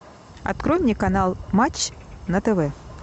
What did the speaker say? открой мне канал матч на тв